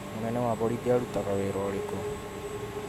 mũnene Wa borithĩ arutaga wira ũrĩkũ?